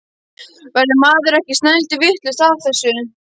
Verður maður ekki snælduvitlaus af þessu?